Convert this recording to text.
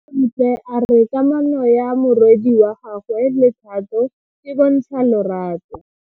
Bontle a re kamano ya morwadi wa gagwe le Thato e bontsha lerato.